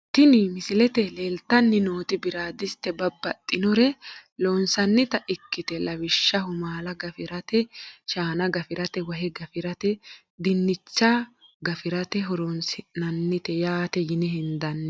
Tini misilete leeltani nooti biradiste babaxinore loosinanita ikite lawishshaho maala gafiratee shaana gafirate wahe gafirate diinicha hafirate horonsinanite yaate yine hendani.